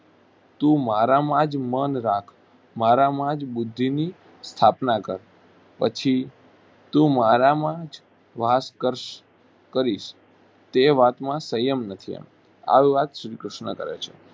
તું મારામાં જ મન રાખ મારામાં જ બુદ્ધિની સ્થાપના કર. પછી તું મારામાં જ વાસ કર્શ કરીશ તે વાતમાં સંયમ નથી એમ આવી વાત શ્રીકૃષ્ણ કરે છે